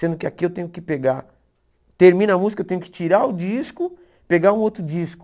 Sendo que aqui eu tenho que pegar, termina a música, eu tenho que tirar o disco, pegar um outro disco.